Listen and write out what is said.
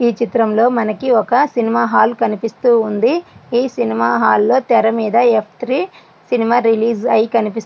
చిత్రంలోని మనకు ఒక సినిమా హాలు కనిపిస్తుంది. ఈ సినిమా హాల్ లో తెర మీద ఎఫ్ త్రి సినిమా రిలీజ్ అయ్యి కనిపిస్తుంది.